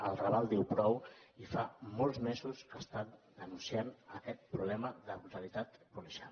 el raval diu prou i fa molts mesos que està denunciant aquest problema de brutalitat policial